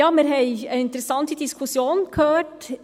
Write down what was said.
Wir haben eine interessante Diskussion gehört.